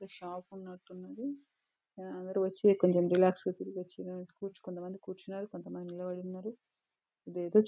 ఒక షాపు ఉన్నట్టున్నది అందరూ వచ్చి కొంచెం రిలాక్స్ గా తిరిగి వచ్చి కొంతమంది కూర్చున్నారు కొంతమంది నిలబడి ఉన్నారు ఇదేదో --